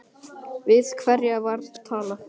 Við hverja var talað?